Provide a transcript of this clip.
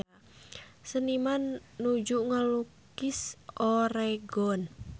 Seniman nuju ngalukis Oregon